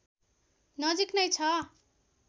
नजिक नै छ